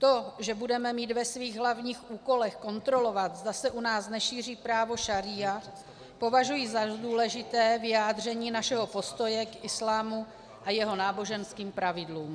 To, že budeme mít ve svých hlavních úkolech kontrolovat, zda se u nás nešíří právo šaría, považuji za důležité vyjádření našeho postoje k islámu a jeho náboženským pravidlům.